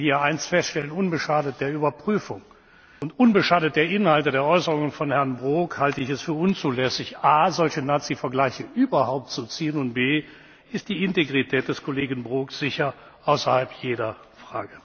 Ich will hier eines feststellen Unbeschadet der Überprüfung und unbeschadet der Inhalte der Äußerungen von Herrn Brok halte ich es für unzulässig, a solche Nazivergleiche überhaupt zu ziehen, und b ist die Integrität des Kollegen Brok sicherlich außerhalb jeder Frage. Beifall